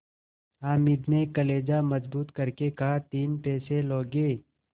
हामिद ने कलेजा मजबूत करके कहातीन पैसे लोगे